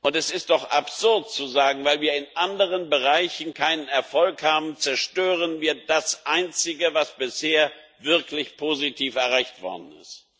Es ist doch absurd zu sagen Weil wir in anderen Bereichen keinen Erfolg haben, zerstören wir das Einzige, was bisher wirklich positiv erreicht worden ist.